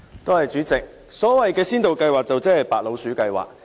代理主席，所謂先導計劃就是"白老鼠計劃"。